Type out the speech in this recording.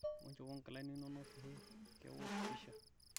shomo njopo nkilani inonok pee keosh pisha